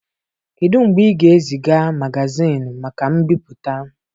Kedu mgbe ị ga-eziga magazịịnị maka mbipụta.